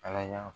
Ala y'a